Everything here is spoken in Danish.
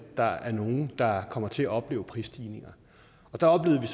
der er nogle der kommer til at opleve prisstigninger der oplevede